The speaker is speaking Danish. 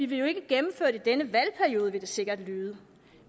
vil jo ikke gennemføre det i denne valgperiode vil det sikkert lyde